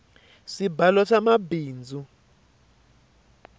swibalo swa mabindzu